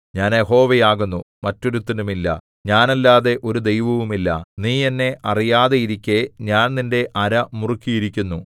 ഞാൻ യഹോവയാകുന്നു മറ്റൊരുത്തനുമില്ല ഞാനല്ലാതെ ഒരു ദൈവവുമില്ല നീ എന്നെ അറിയാതെയിരിക്കെ ഞാൻ നിന്റെ അര മുറുക്കിയിരിക്കുന്നു